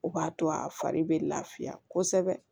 O b'a to a fari bɛ lafiya kosɛbɛ